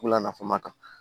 Wula nafama kan